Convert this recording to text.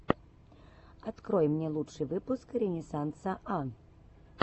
открой мне лучший выпуск ренессанса а